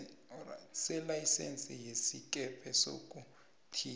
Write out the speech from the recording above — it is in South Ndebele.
selayisense yesikepe sokuthiya